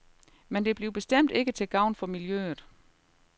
Men det bliver bestemt ikke til gavn for miljøet.